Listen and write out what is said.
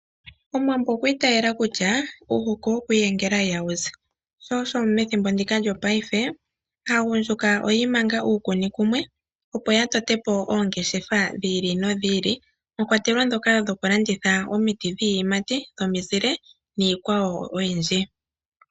Omuwambo okwa itayela kutya: "Uuhoko wokwiiyengela ihawu zi". Sho osho methimbo ndika lyopaife, aagundjuka oyi imanga uukuni kumwe, opo ya tote po oongeshefa dhi ili nodhi ili, mwa kwatelwa ndhoka dhokulanditha omiti dhiiyimati, dhomizile, niikwawo oyindji.